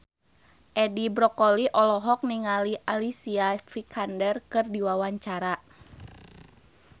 Edi Brokoli olohok ningali Alicia Vikander keur diwawancara